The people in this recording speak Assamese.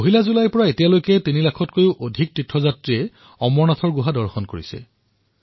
১ জুলাইৰ পৰা এতিয়ালৈ তিনি লাখতকৈও অধিক তীৰ্থযাত্ৰীয়ে পবিত্ৰ অমৰনাথ গুহা দৰ্শন কৰিছে